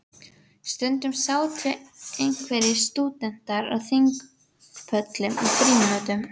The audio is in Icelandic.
Stundum sátu einhverjir stúdentar á þingpöllum í frímínútum.